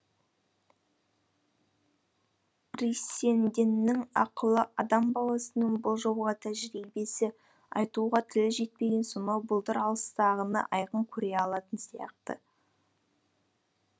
бриссенденнің ақылы адам баласының болжауға тәжірибесі айтуға тілі жетпеген сонау бұлдыр алыстағыны айқын көре алатын сияқты